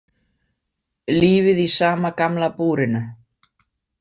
Lífið í sama gamla búrinu.